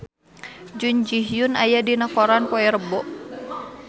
Jun Ji Hyun aya dina koran poe Rebo